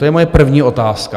To je moje první otázka.